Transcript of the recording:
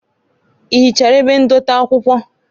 Ị hichara ebe ndote akwụkwọ?